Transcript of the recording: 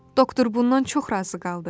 Doktor bundan çox razı qaldı.